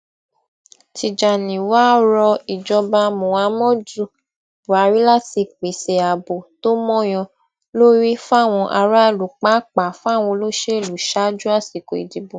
tìjànì wàá rọ ìjọba muhammadu buhari láti pèsè ààbò tó mọyán lórí fáwọn aráàlú pàápàá fáwọn olóṣèlú ṣaájú àsìkò ìdìbò